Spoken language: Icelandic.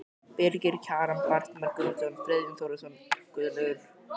Birgir Kjaran, Bjartmar Guðmundsson, Friðjón Þórðarson, Guðlaugur